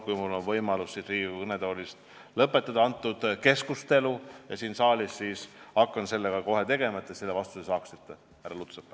Kui mul on võimalus lõpetada siin Riigikogu kõnetoolis see keskustelu, siis hakkan kohe tegelema sellega, et te selle vastuse saaksite, härra Lutsepp.